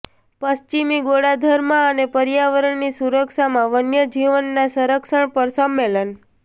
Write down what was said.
પશ્ચિમી ગોળાર્ધમાં અને પર્યાવરણની સુરક્ષામાં વન્યજીવનના સંરક્ષણ પર સંમેલન